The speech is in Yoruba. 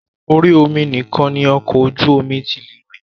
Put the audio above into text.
Orí omi nìkan ni ọkọ̀ ojú omi tí lè rìn.